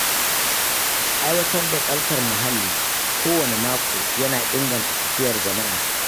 Aiwatar da tsaftar muhalli kowane mako yana inganta lafiyar jama’a.